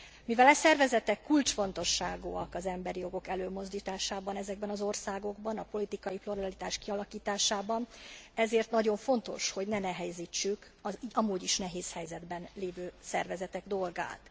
Mivel e szervezetek kulcsfontosságúak az emberi jogok előmozdításában ezekben az országokban, a politikai pluralitás kialakításában, ezért nagyon fontos, hogy ne nehezítsük az amúgy is nehéz helyzetben lévő szervezetek dolgát.